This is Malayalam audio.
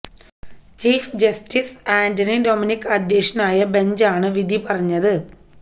ചീഫ് ജസ്റ്റിസ് ആന്റണി ഡോമിനിക് അധ്യക്ഷനായ ബെഞ്ചാണ് വിധി പറഞ്ഞത്